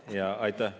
Aitäh!